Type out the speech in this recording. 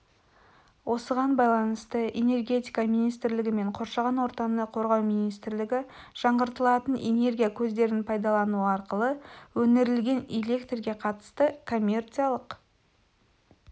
осыған байланысты энергетика министрлігі мен қоршаған ортаны қорғау министрлігі жаңғыртылатын энергия көздерін пайдалану арқылы өнірілген электрге қатысты коммерциялық